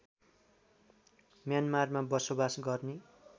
म्यानमारमा बसोबास गर्ने